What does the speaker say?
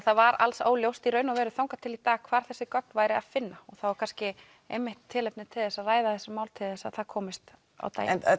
það var alls óljóst í raun og veru þangað til í dag hvar þessi gögn væri að finna þá er kannski einmitt tilefni til þess að ræða þessi mál til þess að það komist á daginn en